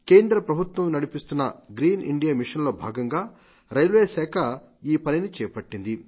కేంద్రప్రభుత్వం నడిపిస్తున్న green India mission లో భాగంగా రైల్వే శాఖ ఈ పనిని చేపట్టింది